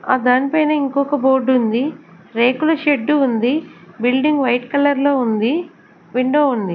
ఆ దానిపైన ఇంకొక బోర్డు ఉంది రేకుల షెడ్డు ఉంది బిల్డింగ్ వైట్ కలర్ లో ఉంది విండో ఉంది.